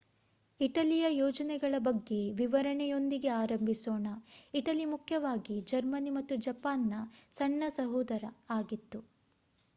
ಇಟಲಿಯ ಯೋಜನೆಗಳ ಬಗ್ಗೆ ವಿವರಣೆಯೊಂದಿಗೆ ಆರಂಭಿಸೋಣ. ಇಟಲಿ ಮುಖ್ಯವಾಗಿ ಜರ್ಮನಿ ಮತ್ತು ಜಪಾನ್‌ನ ಸಣ್ಣ ಸೋದರ ಆಗಿತ್ತು